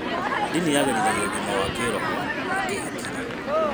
Ndini yagĩrithagia ũgima wa kĩroho na kĩhakiri.